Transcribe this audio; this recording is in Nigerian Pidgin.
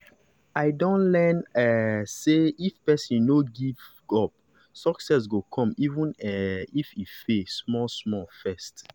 i don learn um say if person no give give up success go come even um if e fail small-small first.